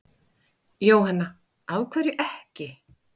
Jóhanna: Af hverju ekki?